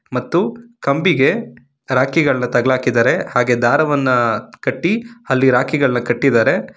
ಮತ್ತು ಕಂಬಿಗೆ ರಾಖಿಗಳ್ನ ತಗಲಾಕಿದ್ದಾರೆ ಹಾಗೆ ದಾರವನ್ನ ಕಟ್ಟಿ ಅಲ್ಲಿ ರಾಖಿಗಳ್ನ ಕಟ್ಟಿದ್ದಾರೆ.